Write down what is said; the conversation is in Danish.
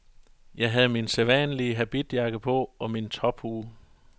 Jeg havde min sædvanlige habitjakke på og min tophue.